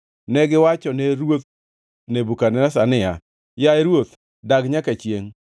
Negiwachone ruoth Nebukadneza niya, “Yaye ruoth, dag nyaka chiengʼ!